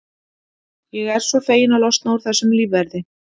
Ég er svo feginn að losna úr þessum lífverði.